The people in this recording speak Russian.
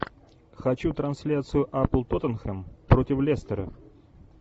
хочу трансляцию апл тоттенхэм против лестера